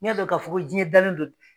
N y'a dɔ ka fɔ ko diɲɛ dalen do